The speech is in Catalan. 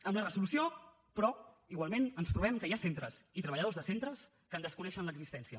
amb la resolució però igualment ens trobem que hi ha centres i treballadors de centres que en desconeixen l’existència